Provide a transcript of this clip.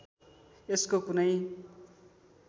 यसको कुनै